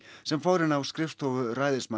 sem fór inn á skrifstofu